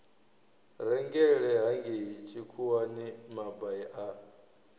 rengele hangei tshikhuwani mabai a